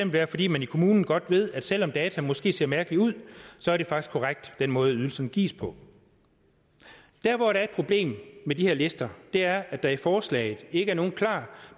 være fordi man i kommunen godt ved at selv om dataene måske ser mærkelige ud så er det faktisk korrekt den måde ydelsen gives på der hvor der er et problem med de her lister er at der i forslaget ikke er nogen klar